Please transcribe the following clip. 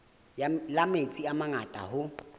la metsi a mangata hoo